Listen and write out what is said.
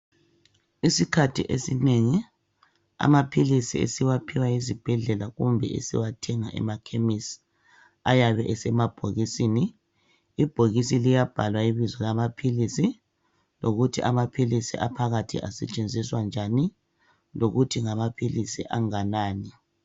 Isikhathi esinengi amaphilisi esiwaphiwa ezibhedlela kumbe esiwathenga emakhemisi ayabe esemabhokisini. Ibhokisi liyabhalwa ibizo lamaphilisi lokuthi amaphilisi aphakathi asetshenziswa njani lokuthi ngamaphilisi anganani.